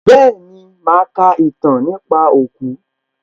Bẹ́ẹ̀ni, màá ka ìtàn nípa òkú